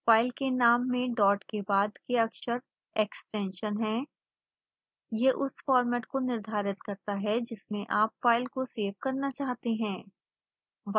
file के नाम में डॉट के बाद के अक्षर एक्सटेंशन है यह उस फॉर्मेट को निर्धारित करता है जिसमें आप फ़ाइल को सेव करना चाहते हैं